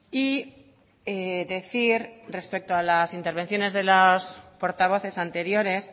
y decir respecto a las intervenciones de los portavoces anteriores